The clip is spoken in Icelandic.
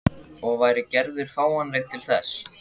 Og væri Gerður fáanleg til þess?